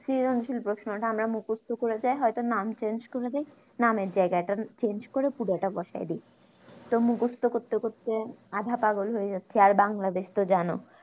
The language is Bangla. সৃজনশীল প্রশ্নটা আমরা মুকস্ত করে যাই হয়তো নাম change করে দেয় নামের জায়গাটা change করে পুরোটা বসাই দি তো মুকস্ত করতে করতে আধা পাগল হয়ে যাচ্ছি আর বাংলাদেশে তো জানো